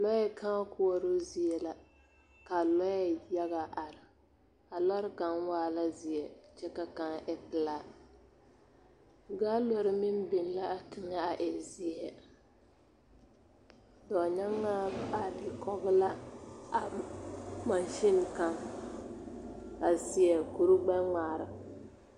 Lɔɛ kãã koɔroo zie la ka lɔɛ yaga are a lɔre kaŋ waa la zeɛ kyɛ ka kaŋ e pelaa gaalori meŋ biŋ l,a teŋɛ e zeɛ dɔɔnyaŋaa are kɔge la a mansiŋ kaŋ a seɛ kurigbɛŋmaara.